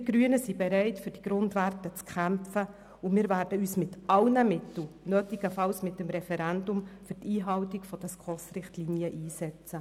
Wir Grünen sind bereit, für diese Grundwerte zu kämpfen, und wir werden uns mit allen Mitteln, nötigenfalls mit einem Referendum, für die Einhaltung der SKOS-Richtlinien einsetzen.